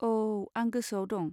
औ, आं गोसोआव दं।